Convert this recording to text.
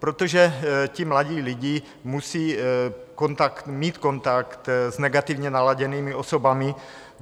Protože ti mladí lidé musí mít kontakt s negativně naladěnými osobami.